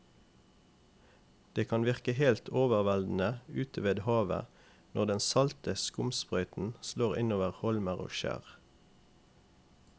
Det kan virke helt overveldende ute ved havet når den salte skumsprøyten slår innover holmer og skjær.